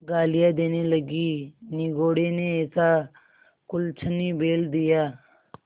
गालियाँ देने लगीनिगोडे़ ने ऐसा कुलच्छनी बैल दिया